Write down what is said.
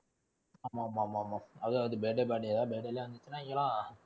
ஆமா ஆமா ஆமா. அதுவும் birthday party னா birthday ல